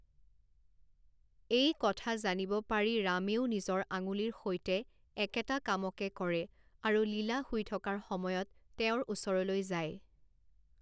এই কথা জানিব পাৰি ৰামেও নিজৰ আঙুলিৰ সৈতে একেটা কামকে কৰে আৰু লীলা শুই থকাৰ সময়ত তেওঁৰ ওচৰলৈ যায়।